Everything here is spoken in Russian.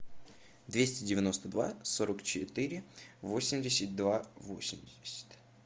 двести девяносто два сорок четыре восемьдесят два восемьдесят